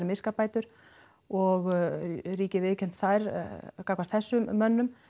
miskabætur og ríkið viðurkenndi þær gagnvart þessum mönnum